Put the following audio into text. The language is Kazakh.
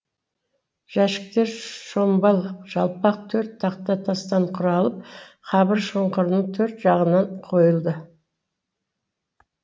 жәшіктер шомбал жалпақ төрт тақта тастан құралып қабір шұңқырының төрт жағынан қойылды